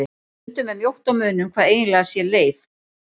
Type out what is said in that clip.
Stundum er mjótt á munum hvað eiginlega sé leif.